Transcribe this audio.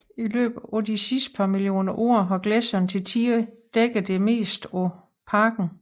I løbet af de sidste par millioner år har gletsjere til tider dækket det meste af parken